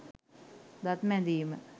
දත් මැදීම